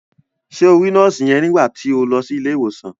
Ṣé o rí nọ́ọ̀sì yẹn nígbà to lọ sí ilé ìwòsàn?